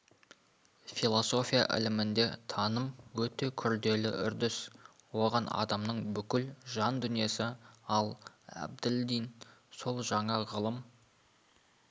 философия ілімінде таным өте күрделі үрдіс оған адамның бүкіл жан дүниесі ал әбділдин сол жаңа ғылым